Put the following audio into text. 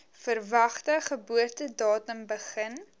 verwagte geboortedatum begin